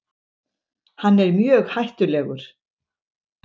Hann er mjög hættulegur.